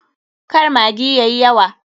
Kar maggi yayi yawa.